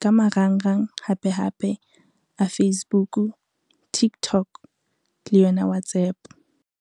ka marangrang hape hape a Facebook, Tiktok le yona WhatsApp.